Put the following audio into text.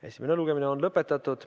Esimene lugemine on lõpetatud.